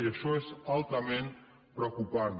i això és altament preocupant